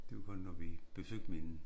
Det var kun når vi besøgte min